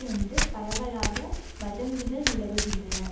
என்று பரவலாக வதந்திகள் நிலவுகின்றன